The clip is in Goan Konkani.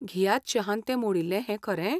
घियात शहान तें मोडिल्लें हें खरें ?